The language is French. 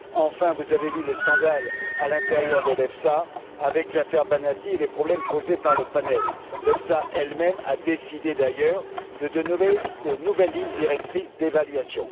Enfin, vous avez vu le scandale au sein de l'EFSA avec l'affaire Banati et les problèmes posés par le panel. L'EFSA elle même a décidé, d'ailleurs, de donner de nouvelles lignes directrices d'évaluation.